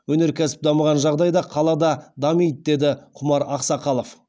өнеркәсіп дамыған жағдайда қала да дамиды деді құмар ақсақалов